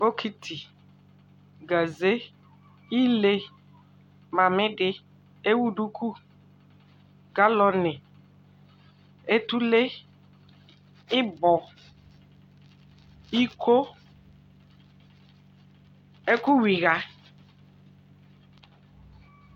Bokiti, gaze, ile, mamidi, ewuduku, galɔni, etule, ɩbɔ, iko, ɛkʊwɩɣa